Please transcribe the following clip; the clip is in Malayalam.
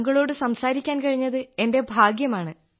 താങ്കളോടു സംസാരിക്കാൻ കഴിഞ്ഞത് എന്റെ ഭാഗ്യമാണ്